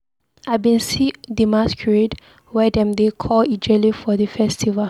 I bin see di masqurade wey dem dey call Ijele for di festival.